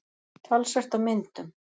Talsvert af myndum.